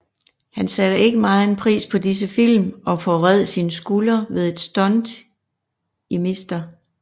Han satte ikke megen pris på disse film og forvred sin skulder ved et stunt i Mr